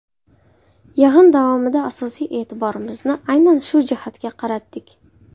Yig‘in davomida asosiy e’tiborimizni aynan shu jihatga qaratdik.